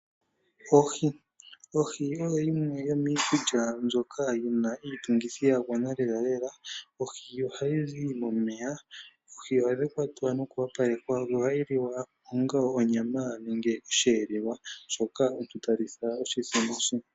Ohi Ohi oyo yimwe yomiikulya mbyoka yina iitungithi ya gwana lelalela. Ohi ohayi zi momeya. Oohi ohadhi kwatwa noku opalekwa, ohayi liwa onga onyama nenge osheelelwa, shoka omuntu ta litha oshithima she.